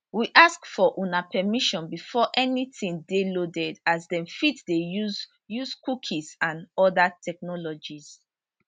we ask for una permission before anytin dey loaded as dem fit dey use use cookies and oda technologies